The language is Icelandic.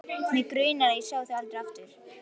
Og mig grunar að ég sjái þau aldrei aftur.